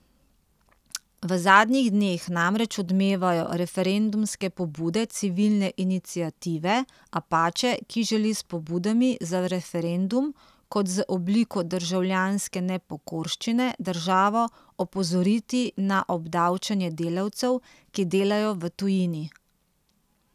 V zadnjih dneh namreč odmevajo referendumske pobude Civilne iniciative Apače, ki želi s pobudami za referendum kot z obliko državljanske nepokorščine državo opozoriti na obdavčevanje delavcev, ki delajo v tujini.